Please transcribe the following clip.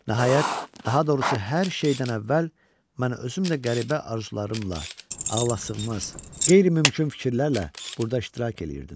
Nəhayət, daha doğrusu hər şeydən əvvəl mən özümdə qəribə arzularımla, ağlasığmaz, qeyri-mümkün fikirlərlə burda iştirak eləyirdim.